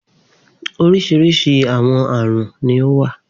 Oríṣiríṣi àwọn àrùn ni ó wà.